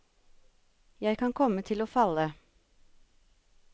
Jeg kan komme til å falle.